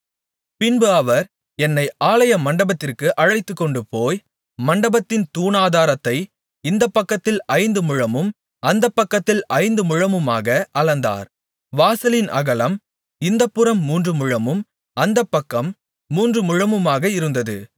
பின்பு அவர் என்னை ஆலய மண்டபத்திற்கு அழைத்துக்கொண்டுபோய் மண்டபத்தின் தூணாதாரத்தை இந்தப்பக்கத்தில் ஐந்து முழமும் அந்தப்பக்கத்தில் ஐந்து முழமுமாக அளந்தார் வாசலின் அகலம் இந்தப்புறம் மூன்று முழமும் அந்தப்பக்கம் மூன்று முழமுமாக இருந்தது